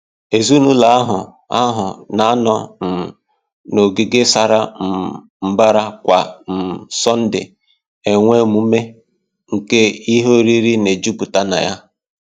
Ezinụlọ ahụ ahụ na-anọ um n’ogige sara um mbara kwa um Sọnde enwe emume nke ihe oriri na-ejupụta na ya